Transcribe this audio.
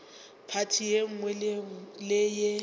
phathi ye nngwe le ye